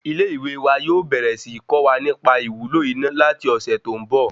Ilé ìwé wa yóò bẹ̀rẹ̀ síí kọ́ wa nì pa ìwúlò iná láti ọ̀sẹ̀ tó ń bọ̀